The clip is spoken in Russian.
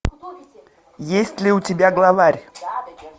есть ли у тебя главарь